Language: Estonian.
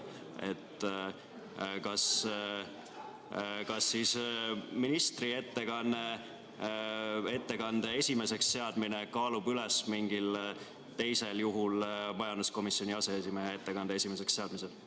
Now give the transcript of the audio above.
Kas ministri ettekande esimeseks seadmine kaalub üles mingil teisel juhul majanduskomisjoni aseesimehe ettekande esimeseks seadmise?